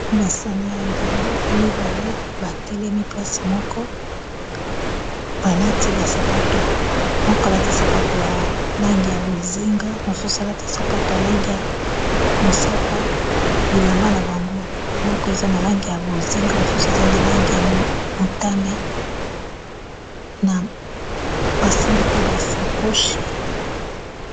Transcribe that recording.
basani ya ndembo mibale batelemi place moko balati basapato moko alati sapato alangi ya bozinga mosusu alati sapato alangi ya mosaka bilamba na bango moko eza na langi ya bozinga mosusu eza na langi ya motane na basimbi pe basakoche